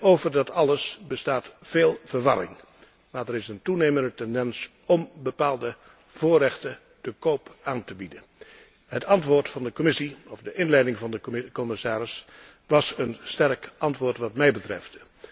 Over dat alles bestaat veel verwarring, maar er is een toenemende tendens om bepaalde voorrechten te koop aan te bieden. Het antwoord van de Commissie, of de inleiding van de commissaris was een sterk antwoord wat mij betreft.